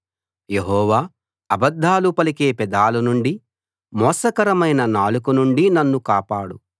యెహోవా అబద్ధాలు పలికే పెదాల నుండి మోసకరమైన నాలుక నుండి నన్ను కాపాడు